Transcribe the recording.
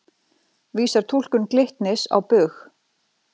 Vísar túlkun Glitnis á bug